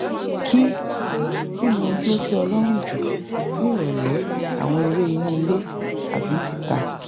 kí kí ni ohun tí ó tẹ́ ọ lọ́rùn jù fún ìrọ̀lẹ́ àwọn eré inú ilé àbí tìta?